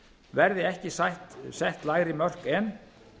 verði ekki sett lægri mörk en